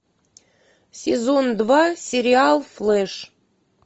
сезон два сериал флеш